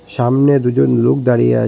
সামনে দুজন লোক দাঁড়িয়ে আ--